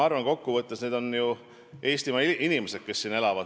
Kokku võttes on need ju Eestimaa inimesed, kes siin elavad.